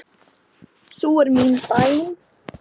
Sú er mín bæn.